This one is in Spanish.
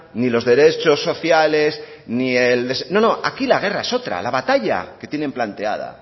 ni los derechos sociales ni el no no aquí la guerra es otra la batalla que tienen planteada